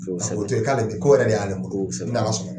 Kosɛbɛ, o to yen, k'ale tɛ, ko yɛrɛ de y'ale bolo, kosɛbɛ, n'Ala sɔnna.